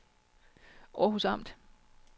Århus Amt